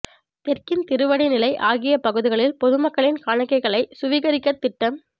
தெற்கின் திருவடி நிலை ஆகிய பகுதிகளில் பொதுமக்களின் காணிகளைச் சுவீகரிக்கத் திட்டம்